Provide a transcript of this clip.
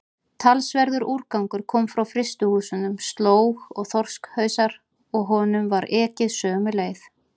Talsverður úrgangur kom frá frystihúsunum, slóg og þorskhausar, og honum var ekið sömu leið.